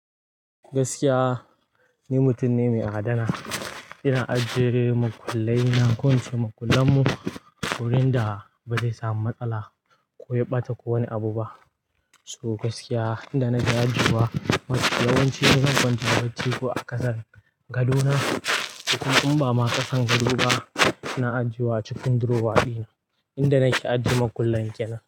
Gaskiya ni mutum ne mai adana. Ina ajiye makullai na ko in ce makullan mu wurin da ba zai samu matsala ko ya ɓata ko wani abu ba. So gaskiya inda na da ajuwa yawancin zan kwanta bacci ko a ƙasan gadona. Kukun in ba ma ƙasan gado ba, na ajiye wa cikin drawer dina inda nake ajiye makullan kenan.